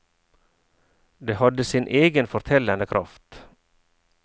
Det hadde sin egen fortellende kraft.